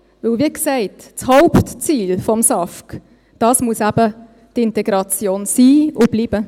Denn, wie gesagt, das Hauptziel des SAFG muss eben die Integration sein und bleiben.